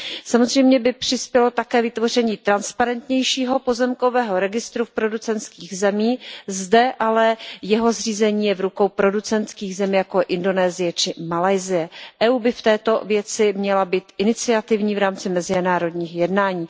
Samozřejmě by přispělo také vytvoření transparentnějšího pozemkového registru v producentských zemích, zde ale je jeho zřízení v rukou producentských zemí, jako je Indonésie či Malajsie. Evropská unie by v této věci měla být iniciativní v rámci mezinárodních jednání.